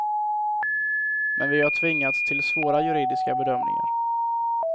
Men vi har tvingats till svåra juridiska bedömningar.